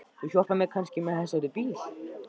Þú hjálpar mér kannski með þessa út í bíl?